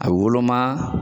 A woloma.